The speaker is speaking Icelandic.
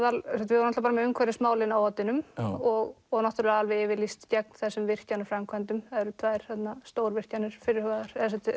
við vorum með umhverfismálin á oddinum og og náttúrulega alveg yfirlýst gegn þessum virkjanaframkvæmdum það eru tvær þarna stórvirkjanir fyrirhugaðar eða sem